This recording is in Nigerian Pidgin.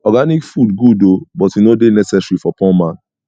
organic food good o but e no dey necessary for poor man